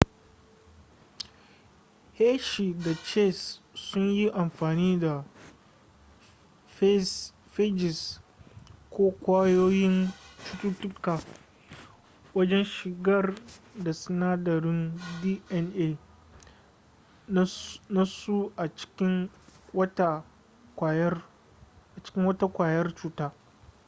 hershey da chase sun yi amfani da phages ko ƙwayoyin cututtuka wajen shigar da sinadarin dna nasu a cikin wata ƙwayar cuta